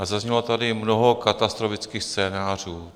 A zaznělo tady mnoho katastrofických scénářů.